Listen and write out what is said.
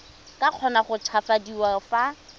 ka kgona go tshabafadiwa fa